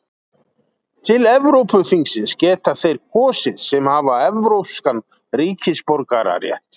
til evrópuþingsins geta þeir kosið sem hafa evrópskan ríkisborgararétt